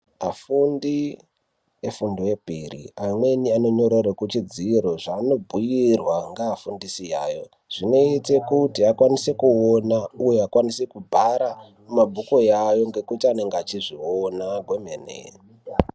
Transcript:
Afundi e fundo yepiri amweni ano nyorerwe ku chidziro zvaano bhudirwa nga fundisi yayo zvinoita kuti vakwanise kuona uye vakwanise ku bhara mu mabhuku yayo nekuti vanenge vechi zviona kwe mene.